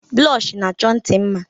Blọshi na-achọ ntì mma.